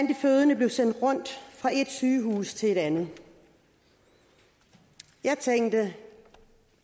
de fødende blev sendt rundt fra et sygehus til et andet jeg tænkte